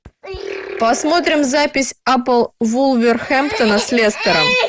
посмотрим запись апл вулверхэмптона с лестером